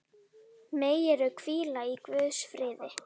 Megirðu hvíla í Guðs friði.